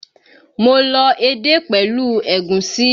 Mo lọ edé pẹ̀lú ẹ̀gúsí